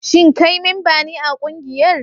Shin kai memba ne a kungiyar?